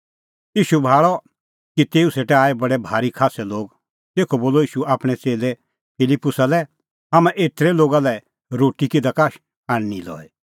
ईशू भाल़अ कि तेऊ सेटा लै आऐ बडै भारी खास्सै लोग तेखअ बोलअ ईशू आपणैं च़ेल्लै फिलिप्पुसा लै हाम्हां एतरै लोगा लै रोटी किधा का आणनीं लई